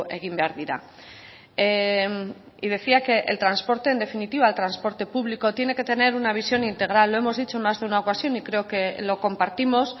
egin behar dira y decía que el transporte en definitiva el transporte público tiene que tener una visión integral lo hemos dicho en más de una ocasión y creo que lo compartimos